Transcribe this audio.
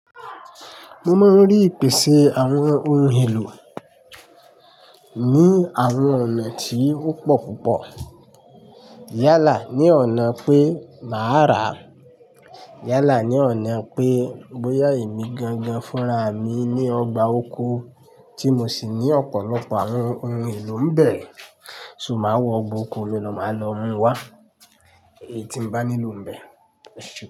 Mo máa ń rí ìpèsè àwọn ohun èlò ní àwọn ọ̀nà tí ó pọ̀ púpọ̀. Yálà ni ọ̀nà pé màá rà. Yálà ni ọ̀nà pé bóyá èmi gangan fúnra mi ní ọgbà oko tí mo sì ní ọ̀pọ̀lọpọ̀ àwọn ohun èlò ń bẹ̀, ṣo má wọ ọgbà oko, lolò má lọ mú wá èyí tí mo bá nílò ń bẹ̀